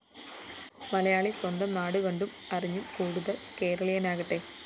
മലയാളി സ്വന്തം നാടുകണ്ടും അറിഞ്ഞും കൂടുതല്‍ കേരളിയനാകട്ടെ